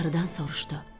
Qarıdan soruşdu: